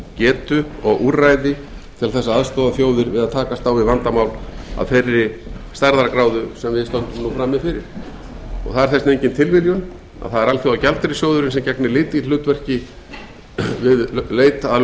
getu og úrræði til þess að aðstoða þjóðir við að takast á við vandamál af þeirri stærðargráðu sem við stöndum nú frammi fyrir það er þess vegna engin tilviljun að það er alþjóðagjaldeyrissjóðurinn sem gegnir lykilhlutverki við leit að